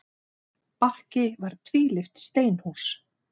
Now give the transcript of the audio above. Bakki var tvílyft steinhús.